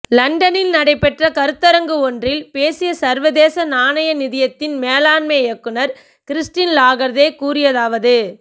லண்டனில் நடைபெற்ற கருத்தரங்கு ஒன்றில் பேசிய சர்வதேச நாணய நிதியத்தின் மேலாண்மை இயக்குநர் கிறிஸ்டின் லகார்தே கூறியதாவது